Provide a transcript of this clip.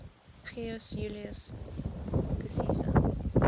gaius julius caesar